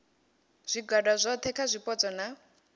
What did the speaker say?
zwigwada zwohe kha zwipotso na